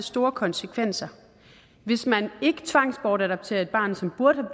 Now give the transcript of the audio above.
store konsekvenser hvis man ikke tvangsbortadopterer et barn som burde